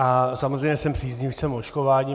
A samozřejmě jsem příznivcem očkování.